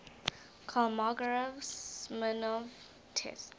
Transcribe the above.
kolmogorov smirnov test